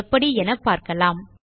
எப்படி என பார்க்கலாம்